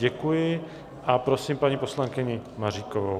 Děkuji a prosím paní poslankyni Maříkovou.